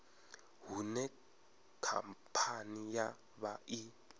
hune khamphani ya vha i